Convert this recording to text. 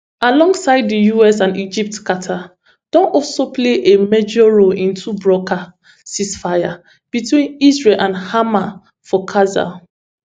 alongside di us and egypt qatar don also play a major role in to broker ceasefire between israel and hamas for gaza